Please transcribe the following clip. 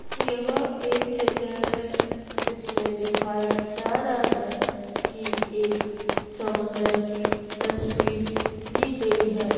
यह एक चित्र है इसमें दिखाया जा रहा है कि एक समुन्दर की तस्वीर ली गई है।